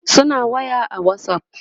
suna waya a Whatsapp